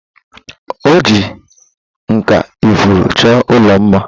Oji nkà ifuru chọọ ụlọ mma.